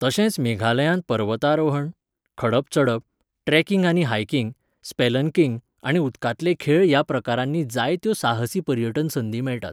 तशेंच मेघालयांत पर्वतारोहण, खडप चडप, ट्रॅकिंग आनी हायकिंग , स्पेलनकिंग आनी उदकांतले खेळ ह्या प्रकारांनी जायत्यो साहसी पर्यटन संदी मेळटात.